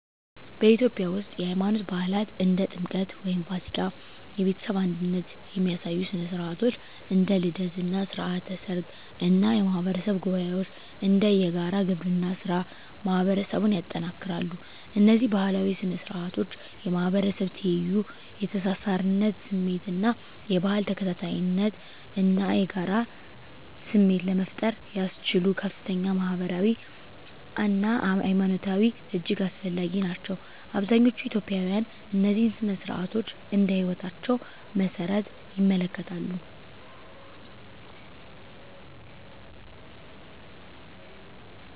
በኢትዮጵያ ውስጥ፣ የሃይማኖት በዓላት (እንደ ጥምቀት ወይም ፋሲካ)፣ የቤተሰብ አንድነት የሚያሳዩ ሥነ ሥርዓቶች (እንደ ልደት እና ሥርዓተ ሰርግ) እና የማህበረሰብ ጉባኤዎች (እንደ የጋራ ግብርና ሥራ) ማህበረሰቡን ያጠናክራሉ። እነዚህ ባህላዊ ሥነ ሥርዓቶች የማህበረሰብ ትይዩ፣ የተሳሳርነት ስሜት እና የባህል ተከታታይነት እና የጋራ ስሜት ለመፍጠር ያስችሉ ከፍተኛ ማህበራዊ አና ሀይማኖታዊ እጅግ አስፈላጊ ናቸው። አብዛኛዎቹ ኢትዮጵያውያን እነዚህን ሥነ ሥርዓቶች እንደ ህይወታቸው መሰረት ይመለከታሉ።